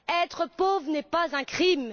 Être pauvre n'est pas un crime.